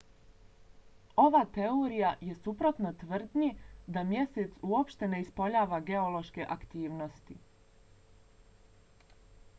ova teorija je suprotna tvrdnji da mjesec uopšte ne ispoljava geološke aktivnosti